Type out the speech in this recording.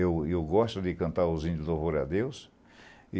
Eu gosto de cantar os índios do louvor a Deus.